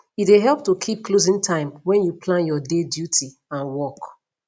e de help to keep closing time when you plan your day duty and work